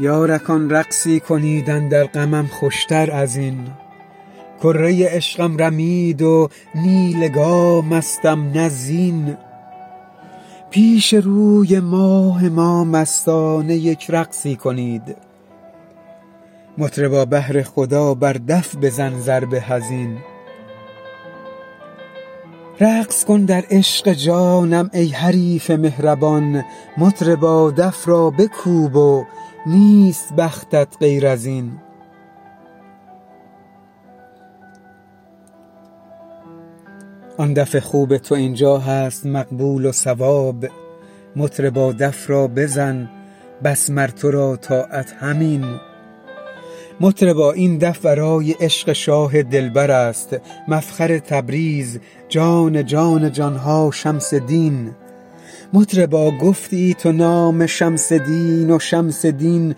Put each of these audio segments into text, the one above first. یارکان رقصی کنید اندر غمم خوشتر از این کره عشقم رمید و نی لگامستم نی زین پیش روی ماه ما مستانه یک رقصی کنید مطربا بهر خدا بر دف بزن ضرب حزین رقص کن در عشق جانم ای حریف مهربان مطربا دف را بکوب و نیست بختت غیر از این آن دف خوب تو این جا هست مقبول و صواب مطربا دف را بزن بس مر تو را طاعت همین مطربا این دف برای عشق شاه دلبر است مفخر تبریز جان جان جان ها شمس دین مطربا گفتی تو نام شمس دین و شمس دین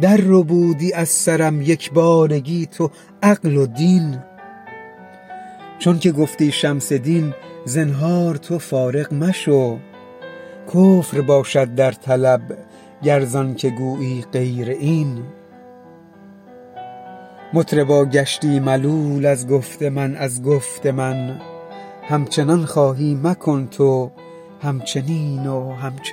درربودی از سرم یک بارگی تو عقل و دین چونک گفتی شمس دین زنهار تو فارغ مشو کفر باشد در طلب گر زانک گویی غیر این مطربا گشتی ملول از گفت من از گفت من همچنان خواهی مکن تو همچنین و همچنین